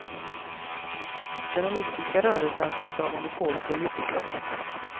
Den olympiska rörelsen ska inte ha monopol på elitidrotten.